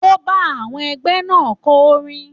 Ó ń bá àwọn ẹgbẹ́ náà kọ orin.